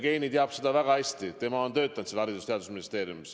Jevgeni teab seda väga hästi, tema on töötanud Haridus- ja Teadusministeeriumis.